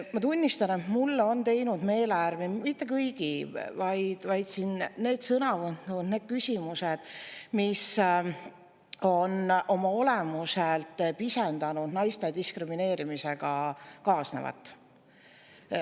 Ma tunnistan, et mulle on teinud meelehärmi mitte kõigi, vaid need sõnavõtud, need küsimused, mis on oma olemuselt pisendanud naiste diskrimineerimisega kaasnevat.